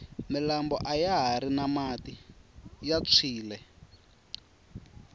milambo ayahari na mati ya phyile